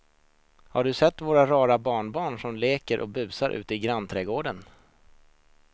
Har du sett våra rara barnbarn som leker och busar ute i grannträdgården!